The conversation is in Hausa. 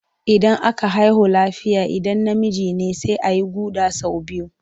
Idan aka haihu lafiya idan namiji ne sai a yi guɗa sau biyu.